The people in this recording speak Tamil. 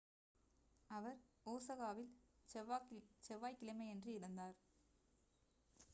அவர் ஒசாகாவில் செவ்வாய் கிழமையன்று இறந்தார்